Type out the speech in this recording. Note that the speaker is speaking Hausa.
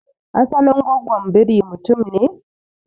asalin gwagwon biri mutum ne?